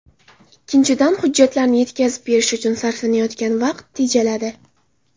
Ikkinchidan, hujjatlarni yetkazib berish uchun sarflanayotgan vaqt tejaladi.